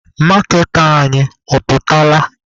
Maaketa anyị ọ pụtala?